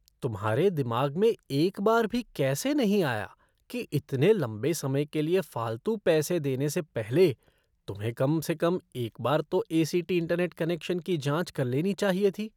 तुम्हारे दिमाग में एक बार भी कैसे नहीं आया कि इतने लंबे समय के लिए फालतू पैसे देने से पहले तुम्हें कम से कम एक बार तो ए.सी.टी. इंटरनेट कनेक्शन की जांच कर लेनी चाहिए थी?